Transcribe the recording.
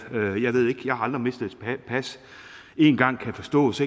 jeg har aldrig mistet et pas én gang kan forstås